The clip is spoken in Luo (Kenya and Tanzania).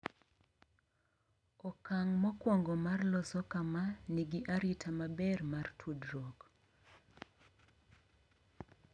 Okang’ mokwongo mar loso kama nigi arita maber mar tudruok